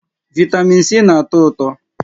Vị́tamị́n C na-atọ ụtọ.